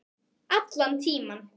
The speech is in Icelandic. Allan tímann.